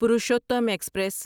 Purushottam express